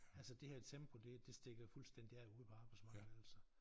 Altså det her tempo det det stikker jo fuldstændig af ude på arbejdsmarkedet altså